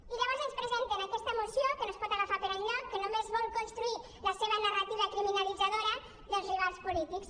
i llavors ens presenten aquesta moció que no es pot agafar per enlloc que només vol construir la seva narrativa criminalitzadora dels rivals polítics